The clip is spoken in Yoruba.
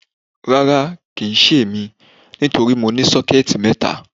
Rárá, Kì í ṣe èmi, torí mo ní sọ́kẹ́ẹ̀tì mẹ́ta.